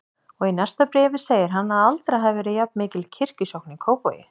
Og í næsta bréfi segir hann að aldrei hafi verið jafnmikil kirkjusókn í Kópavogi.